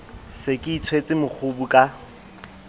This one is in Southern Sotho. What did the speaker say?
se ke itshwetse mokgubu ka